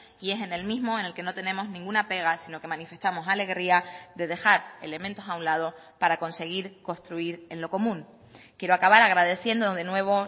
y es en el mismo en el que no tenemos ninguna pega sino que manifestamos alegría de dejar elementos a un lado para conseguir construir en lo común quiero acabar agradeciendo de nuevo